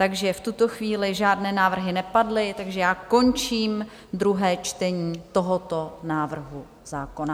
Takže v tuto chvíli žádné návrhy nepadly, takže já končím druhé čtení tohoto návrhu zákona.